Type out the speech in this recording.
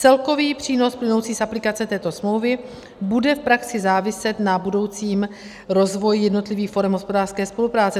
Celkový přínos plynoucí z aplikace této smlouvy bude v praxi záviset na budoucím rozvoji jednotlivých forem hospodářské spolupráce.